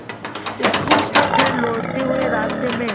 school से घर लौटते हुए रास्ते में